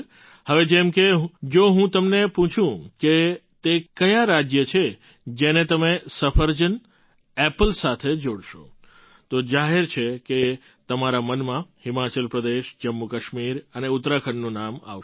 હવે જેમ કે જો હું તમને પૂછું કે તે કયાં રાજ્ય છે જેને તમે સફરજન એપલ સાથે જોડશો તો જાહેર છે કે તમારા મનમાં હિમાચલ પ્રદેશ જમ્મુકાશ્મીર અને ઉત્તરાખંડનું નામ આવશે